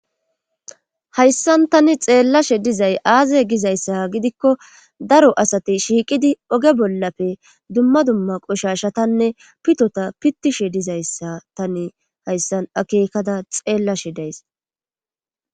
hayssan tani xeellashe dizay aaze gizayssa gidikko daro asati shiiqidi oge bollafe dumma dumma qoshashatanne pitota pittishe dizayssa tani hayssan akeekada xeellashe days